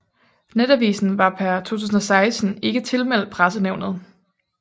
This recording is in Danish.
Netavisen var per 2016 ikke tilmeldt Pressenævnet